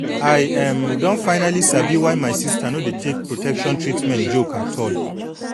i um don finally sabi why my sister no dey take protection treatment joke at all